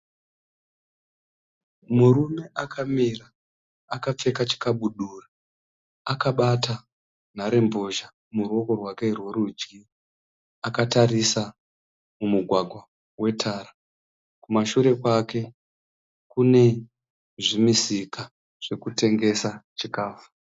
Murume akamira akapfeka chikadubura akabata nhare mbozha muruoko rwake rwerudyi akatarisa mumugwagwa. Kumashure kwake kune zvimisika zvekutengesa chikafu.